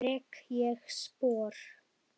Rek ég spor.